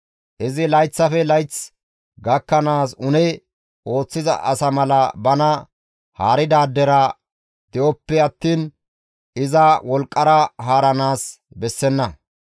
Izi layththafe layth gakkanaas une ooththiza asa mala bana haaridaadera de7oppe attiin iza wolqqara haaranaas bessenna.